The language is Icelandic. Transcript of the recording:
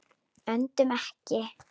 Öndum ekki.